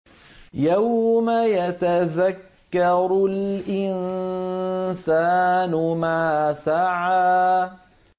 يَوْمَ يَتَذَكَّرُ الْإِنسَانُ مَا سَعَىٰ